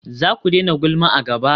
Zaku daina gulma a gaba?